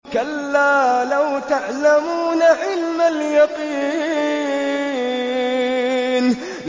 كَلَّا لَوْ تَعْلَمُونَ عِلْمَ الْيَقِينِ